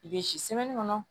I bɛ si kɔnɔ